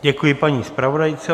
Děkuji paní zpravodajce.